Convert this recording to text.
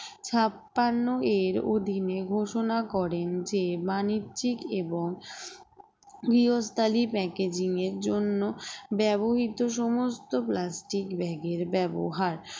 ছাপ্পান্ন এর অধীনে ঘোষণা করেন যে বাণিজ্যিক এবং গৃহস্থালি packaging এর জন্য ব্যবহৃত সমস্ত plastic bag এর ব্যবহার